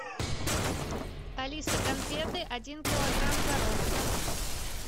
алиса конфеты один килограмм коровка